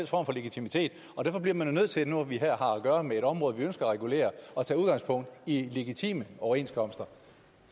for legitimitet derfor bliver man jo nødt til nu når vi her har at gøre med et område vi ønsker at regulere at tage udgangspunkt i legitime overenskomster